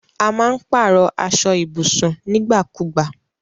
A má n pàrọ̀ aso ibùsùn nígbà kùgba